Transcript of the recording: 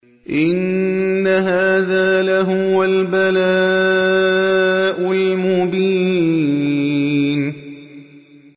إِنَّ هَٰذَا لَهُوَ الْبَلَاءُ الْمُبِينُ